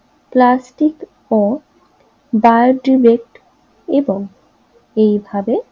plastic এবং এইভাবে